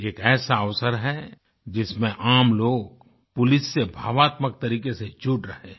एक ऐसा अवसर है जिसमें आमलोग पुलिस से भावात्मक तरीक़े से जुड़ रहे हैं